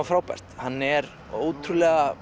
frábært hann er ótrúlega